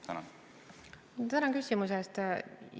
Tänan küsimuse eest!